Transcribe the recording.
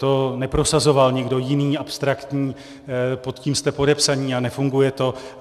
To neprosazoval nikdo jiný, abstraktní, pod tím jste podepsaní a nefunguje to.